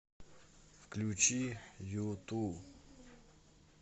включи юту